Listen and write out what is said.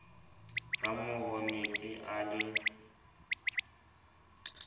ka moro metsi a le